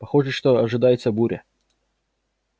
похоже что ожидается буря